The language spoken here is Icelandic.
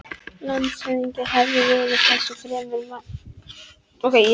Landshöfðingi hafði verið þessu fremur meðmæltur í sumar.